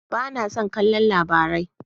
Ba na son kallon Labarai.